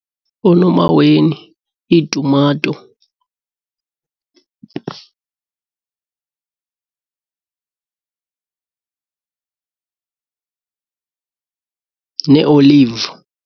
Oonomaweni, iitumato nee-olive.